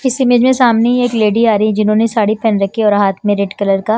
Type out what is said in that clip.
इस इमेज में सामने ही एक लेडी आ रही है जिन्होंने साड़ी पहन रखी और हाथ में रेड कलर का--